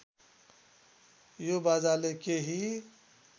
यो बाजाले केही